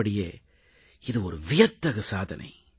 உள்ளபடியே இது ஒரு வியத்தகு சாதனை